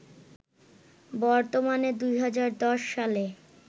বর্তমানে, ২০১০ সালে